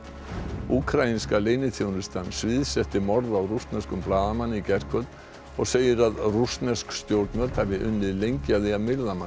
úkraínska leyniþjónustan sviðsetti morð á rússneskum blaðamanni í gærkvöld og segir að rússnesk stjórnvöld hafi unnið lengi að því að myrða manninn